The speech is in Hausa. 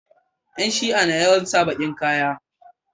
Yan shia na yawan sa bakin ƙaya